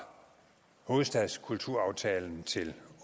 hovedstadskulturaftalen til